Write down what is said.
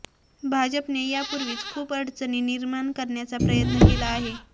भाजपने यापूर्वीच खूप अडचणी निर्माण करण्याचा प्रयत्न केला आहे